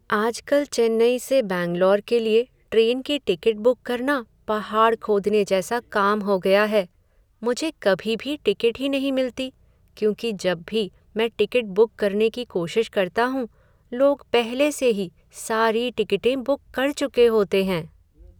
आजकल चेन्नई से बैंगलोर के लिए ट्रेन की टिकट बुक करना पहाड़ खोदने जैसा काम हो गया है। मुझे कभी भी टिकट ही नहीं मिलती, क्योंकि जब भी मैं टिकट बुक करने की कोशिश करता हूँ, लोग पहले से ही सारी टिकटें बुक कर चुके होते हैं।